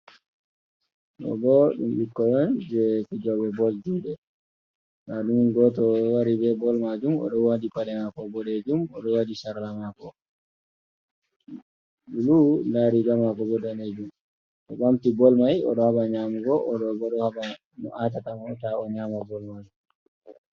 Ɗoo boo ɗum ɓikkoy on jey fijooɓe bol juuɗe, ndaaɗum gooto wari bee bol maajum o ɗo waɗi paɗe maako boɗeejum, o ɗo waɗi sarla maako, blu, ndaa riiga maako boo daneejum, o ɓamti bol may o ɗo haɓa nyaamugo, o ɗo'o boo ɗo jaɓa no aatata mo taa o nyaama bol maajum.